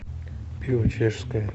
пиво чешское